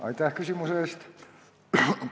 Aitäh küsimuse eest!